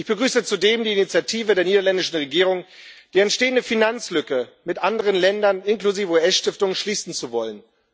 Ich begrüße zudem die Initiative der niederländischen Regierung, die entstehende Finanzlücke mit anderen Ländern inklusive US Stiftungen schließen zu wollen.